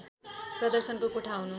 प्रदर्शनको कोठा हुनु